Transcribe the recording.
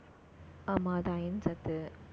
ஆமா, அது iron சத்து